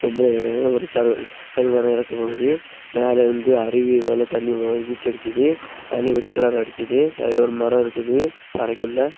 மேல ஷவர்ல தண்ணி வர மாறி மேல இருந்து அருவி போல தண்ணி போ நீச்சல் அடிக்குது தண்ணி ஒயிட் கலர்ல அடிக்குது அதுல ஒரு மரம் இருக்குது அறைக்குள்ள.